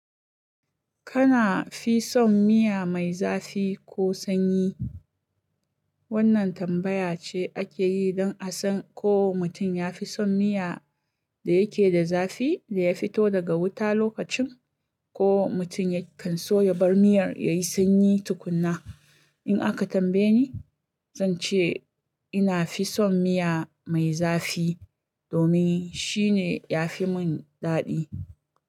Kana fi son miya mai zafi ko sanyi? Wannan tambaya ce ake yi don a san ko mutum ya fi son miya da yake da zafi da ya fito daga wuta lokacin, ko mutum ya kan so ya bar miyar yayi sanyi tukuna. In aka tambaye ni, zan ce ina fi son miya mai zafi domin shine ya fi mun daɗi.